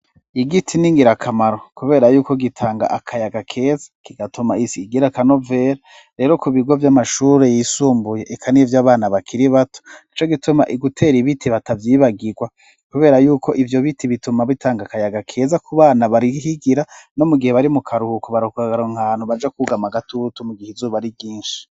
Igiti n'ingirakamaro kubera yuko gitanga akayaga keza kigatuma isi igira kanovel rero ku bigo by'amashuri yisumbuye ikaniye vy'abana bakiri bato ico gituma igutera ibiti batabyibagirwa kubera yuko ivyo biti bituma bitanga akayaga keza ku bana barihigira no mu gihe bari mu karuhuko barukkagaro nkantu baja kugama gatutu mu gihe izuba ari ryinshi.